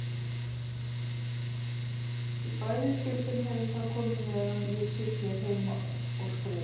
Í bæði skiptin hefur það komið meðan ég sit hér heima og skrifa.